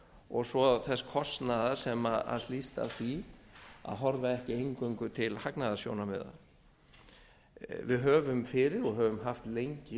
og svo þess kostnaðar sem hlýst af því að horfa ekki eingöngu til hagnaðarsjónarmiða við höfum fyrir og höfum haft lengi